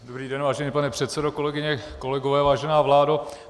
Dobrý den, vážený pane předsedo, kolegyně, kolegové, vážená vládo.